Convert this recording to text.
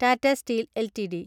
Tata steel LTD